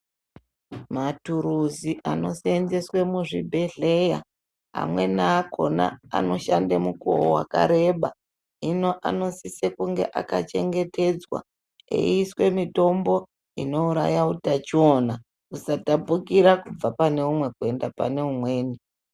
Muturusi anoseenzeswe muzvibhedhleya amweni akona anoshande mukuwo wakareba. Hino anosise kunge akachengetedzwa, eiiswe mitombo inouraya utachiona husatapukira kubva pane umwe kuende pane umweni.